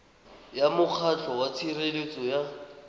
ya mokgatlho wa tshireletso ya